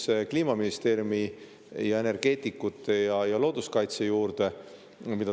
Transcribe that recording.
Lähme Kliimaministeeriumi, energeetikute ja looduskaitse juurde.